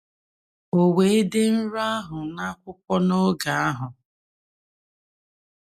O wee dee nrọ ahụ n’akwụkwọ n’oge ahụ. ”